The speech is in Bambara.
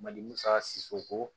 Mali musaka siko